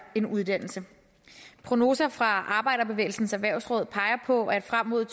en uddannelse prognoser fra arbejderbevægelsens erhvervsråd peger på at frem mod